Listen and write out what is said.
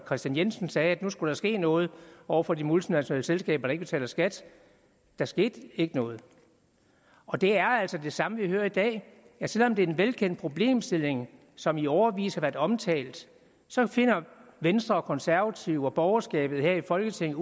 kristian jensen sagde at nu skulle der ske noget over for de multinationale selskaber der ikke betaler skat der skete ikke noget og det er altså det samme vi hører i dag selv om det er en velkendt problemstilling som i årevis har været omtalt så finder venstre og konservative og borgerskabet her i folketinget